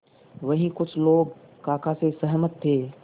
वहीं कुछ लोग काका से सहमत थे